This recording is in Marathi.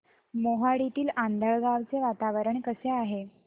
मोहाडीतील आंधळगाव चे वातावरण कसे आहे